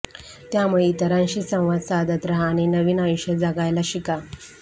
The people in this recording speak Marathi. त्यामुळे इतरांशी संवाद साधत राहा आणि नवीन आयुष्य जगायला शिका